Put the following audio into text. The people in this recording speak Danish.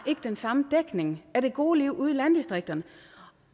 ikke den samme dækning af det gode liv ude i landdistrikterne